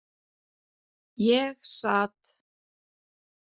Ég sat.